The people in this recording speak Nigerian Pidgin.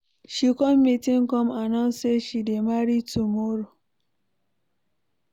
She come meeting come announce say she dey marry tomorrow